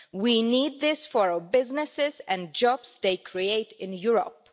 we need this for our businesses and the jobs they create in Europe.